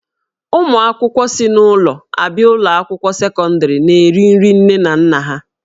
Ụmụ akwụkwọ si n'ụlọ abịa ụlọ akwụkwọ sekọndrị na-eri nri nne na nna ha